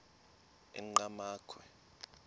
enqgamakhwe